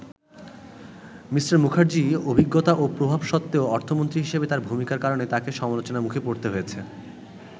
Me. মুখার্জির অভিজ্ঞতা ও প্রভাব সত্ত্বেও অর্থমন্ত্রী হিসেবে তার ভূমিকার কারণে তাকে সমালোচনার মুখে পড়তে হয়েছে।